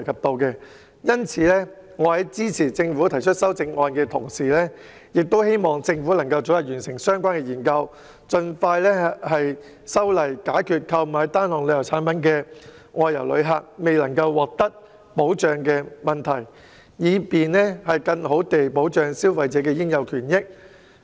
所以，我支持政府提出的修正案，亦希望政府早日完成相關研究，盡快修訂《條例草案》，以解決購買單項旅遊產品的外遊旅客未能獲得保障的問題，更好地保障消費者的應有權益。